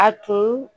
A tun